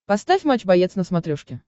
поставь матч боец на смотрешке